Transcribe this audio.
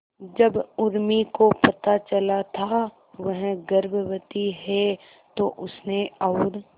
जब उर्मी को पता चला था वह गर्भवती है तो उसने और